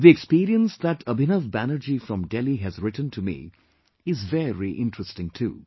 The experience that Abhinav Banerjee from Delhi has written to me is very interesting too